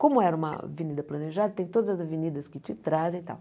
Como era uma avenida planejada, tem todas as avenidas que te trazem e tal.